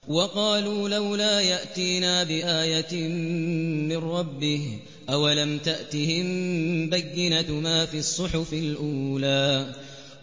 وَقَالُوا لَوْلَا يَأْتِينَا بِآيَةٍ مِّن رَّبِّهِ ۚ أَوَلَمْ تَأْتِهِم بَيِّنَةُ مَا فِي الصُّحُفِ الْأُولَىٰ